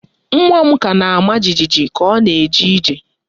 Nwa m ka na-ama jijiji ka ọ na-eje ije